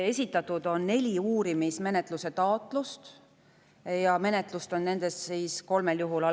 Esitatud on 4 uurimismenetluse taotlust ja menetlus on nendest algatatud 3 juhul.